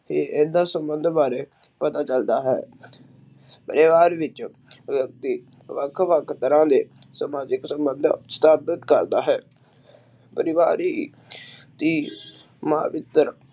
ਇਹਦਾ ਸੰਬੰਧ ਬਾਰੇ ਪਤਾ ਚਲਦਾ ਹੈ ਪਰਿਵਾਰ ਵਿਚ ਵਿਅਕਤੀ ਵੱਖ-ਵੱਖ ਤਰ੍ਹਾਂ ਦੇ ਸਮਾਜਿਕ ਸੰਬੰਧ ਸਥਾਪਿਤ ਕਰਦਾ ਹੈ ਪਰਿਵਾਰ ਹੀ